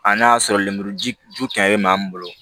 A n'a y'a sɔrɔ lemuruji ju kɛmɛ min bolo